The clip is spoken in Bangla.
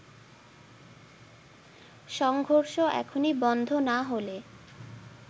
সংঘর্ষ এখনই বন্ধ না হলে